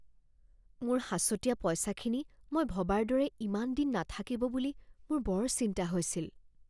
মোৰ সাঁচতীয়া পইচাখিনি মই ভবাৰ দৰে ইমান দিন নাথাকিব বুলি মোৰ বৰ চিন্তা হৈছিল